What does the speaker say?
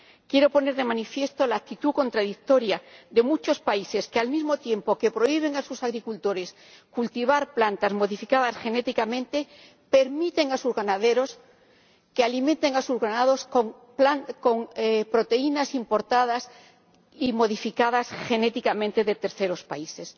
Quiero poner de manifiesto la actitud contradictoria de muchos países que, al mismo tiempo que prohíben a sus agricultores cultivar plantas modificadas genéticamente, permiten a sus ganaderos que alimenten a sus ganados con proteínas importadas y modificadas genéticamente de terceros países.